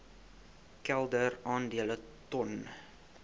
kelder aandele ton